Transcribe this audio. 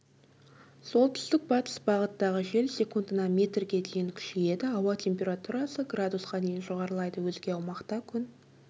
солтүстік-батыс бағыттағы жел секундына метрге дейін күшейеді ауа температурасы градусқа дейін жоғарылайды өзге аумақта күн